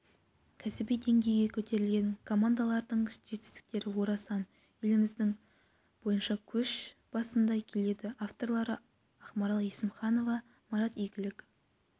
кәсіби деңгейге көтерілген командалардың жетістіктері орасан еліміз бойынша көш басында келеді авторлары ақмарал есімханова марат игіліков